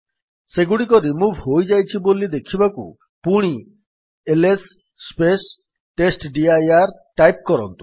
ସେଗୁଡିକ ରିମୁଭ୍ ହୋଇଯାଇଛି ବୋଲି ଦେଖିବାକୁ ପୁଣି ଏଲଏସ୍ ଟେଷ୍ଟଡିର ଟାଇପ୍ କରନ୍ତୁ